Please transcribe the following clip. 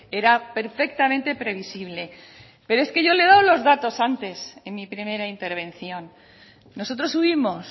era perfectamente previsible pero es que yo le he dado los datos antes en mi primera intervención nosotros subimos